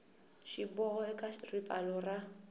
xi boha eka ripfalo ra